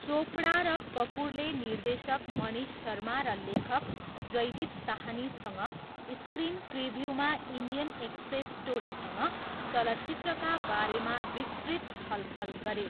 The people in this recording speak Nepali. चोपडा र कपुरले निर्देशक मनीष शर्मा र लेखक जयदीप साहनीसँग स्क्रिन प्रिभ्यूमा इन्डियन एक्सप्रेस टोलीसँग चलचित्रका बारेमा विस्तृत छलफल गरे।